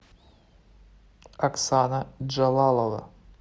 оксана джалалова